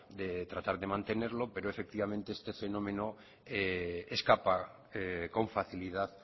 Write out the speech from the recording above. de tratar de mantenerlo pero efectivamente este fenómeno escapa con facilidad